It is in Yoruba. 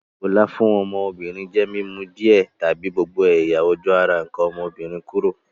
Ìkolà fun ọ́mọ́bìnrin je mi mu díẹ̀ tàbi gbogbo ẹ̀yà-ojú ara nkàn ọ́mọ́bìnrin kúrò.